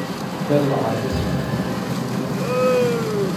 ballaca dhismaha dawlad goboleedka